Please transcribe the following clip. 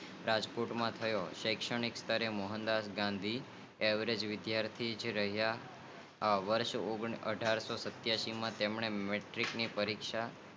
અઠારશોસત્તાણુંમાં રામદાસ ગાંધી ઓગણસો માં દેવદાસ ગાંધી નો જન્મ થાય મહાત્મા ગાંધી નું પ્રાથમિક શિક્ષણ પોરબંદન માં થાઉં હતું અને હાઈસ્કુલ નો અભ્યાસ